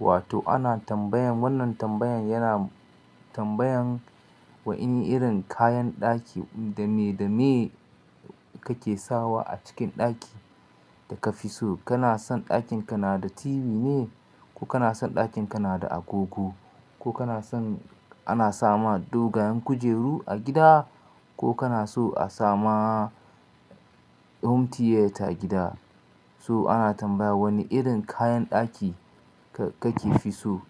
Wato ana tambayan wannan tambayan yana tambayan wa ini irin kayan ɗaki dame dame kake sawa a cikin ɗaki da ka fi so. Kana son ɗakin ka na da TV ne, ko kana son ɗakin ka na da agogo, ko kana son ana sama dogayen kujeru a gida, ko kana so a sama home theater a gida? So ana tambaya wani irin kayan ɗaki kake fi so?